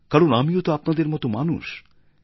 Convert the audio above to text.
কারণ আমিও তো আপনাদের মতো মানুষ